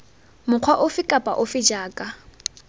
mokgwa ofe kapa ofe jaaka